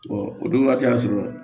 o don waati y'a sɔrɔ